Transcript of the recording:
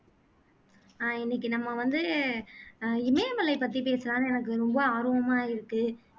அஹ் இன்னைக்கு நம்ம வந்து அஹ் இமயமலை பத்தி பேசலான்னு எனக்கு ரொம்ப ஆர்வமா இருக்கு